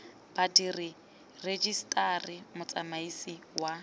badiri ba rejiseteri motsamaisi wa